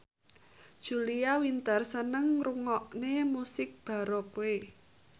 Julia Winter seneng ngrungokne musik baroque